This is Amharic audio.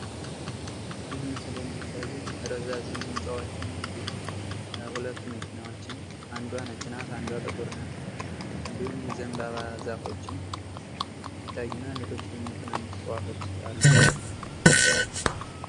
ይህ ምስል የሚያሳዬ ረዛዝም ህንጻዎችን እንዲሁም ሁለት መኪናዎችን አንዷ ነጭ ናት። ጥቁር ናት ። እንዲሁም የዘንባባ ዛፎችም ይታዩናል ። እንዲሁም ትንንሽ እጽዋቶች አሉ።